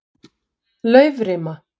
Laufrima